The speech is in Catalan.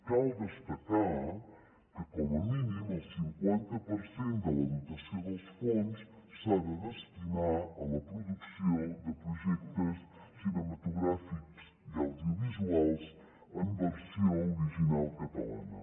cal destacar que com a mínim el cinquanta per cent de la dotació dels fons s’ha de destinar a la producció de projectes cinematogràfics i audiovisuals en versió original catalana